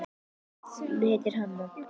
Hún heitir Hanna.